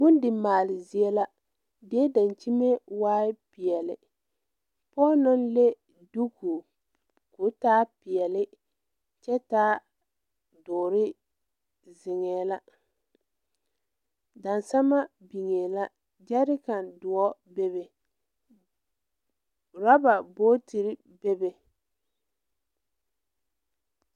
Bondimaale zie la die daŋkyime waai peɛle pɔɔ naŋ le duku ko taa peɛle kyɛ taa dɔɔre zeŋɛɛ la daŋsama biŋee la gyɛrika doɔ bebe rɔba booterre bebe.